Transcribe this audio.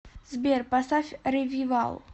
сбер поставь ревивал